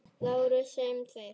LÁRUS: Segjum tveir!